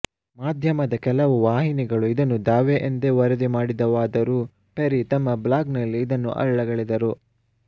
ಮಾಧ್ಯಮದ ಕೆಲವು ವಾಹಿನಿಗಳು ಇದನ್ನು ದಾವೆ ಎಂದೇ ವರದಿ ಮಾಡಿದವಾದರೂ ಪೆರಿ ತಮ್ಮ ಬ್ಲಾಗ್ ನಲ್ಲಿ ಇದನ್ನು ಅಲ್ಲಗಳೆದರು